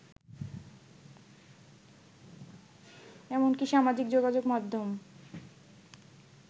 এমনকি সামাজিক যোগাযোগ মাধ্যম